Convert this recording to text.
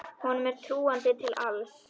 Honum er trúandi til alls.